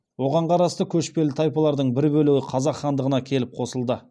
оған қарасты көшпелі тайпалардың бір бөлегі қазақ хандығына келіп қосылды